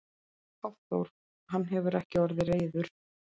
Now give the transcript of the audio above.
Hafþór: Hann hefur ekki orðið reiður?